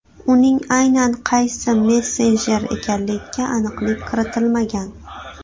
Uning aynan qaysi messenjer ekanligiga aniqlik kiritilmagan.